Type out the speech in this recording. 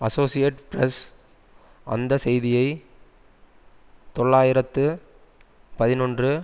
associated Press அந்த செய்தியை தொள்ளாயிரத்து பதினொன்று